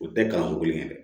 O tɛ kalanko kelen dɛ